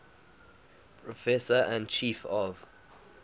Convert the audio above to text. professor and chief of